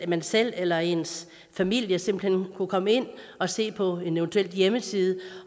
man selv eller ens familie simpelt hen komme ind og se på en eventuel hjemmeside